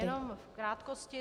Jenom v krátkosti.